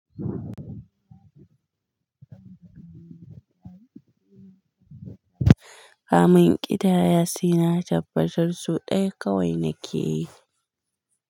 Kamin in ƙidaya, sai na tabbatar sau ɗaya kawai nake yi.